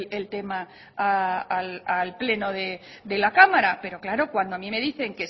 el tema al pleno de la cámara pero claro cuando a mí me dicen